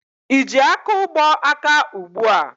Ị ji akaụgbọ aka ugbua?